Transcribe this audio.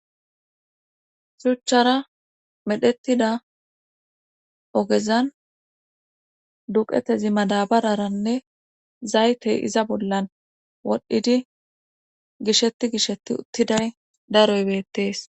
Shuchchara medhettida ogezan duqetezi madabararanne zaytey iza bollan wodhdhidi gishetti gishetti uttiday daroybeettees.